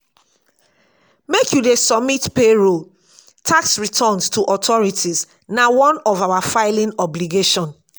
make you dey submit payroll tax returns to authorities na one of our filing obligation.